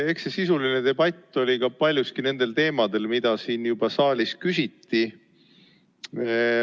Eks see sisuline debatt oli ka paljuski nendel teemadel, mida juba saalis küsiti.